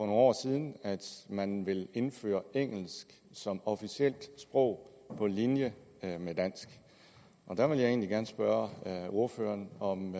år siden at man vil indføre engelsk som officielt sprog på linje med dansk der vil jeg egentlig gerne spørge ordføreren om